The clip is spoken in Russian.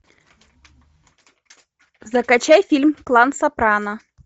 закачай фильм клан сопрано